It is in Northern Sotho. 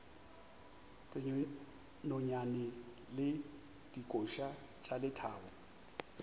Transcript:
dinonyane le dikoša tša lethabo